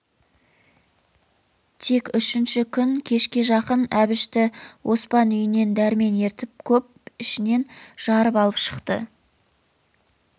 тек үшінші күн кешке жақын әбішті оспан үйінен дәрмен ертіп көп ішінен жарып алып шықты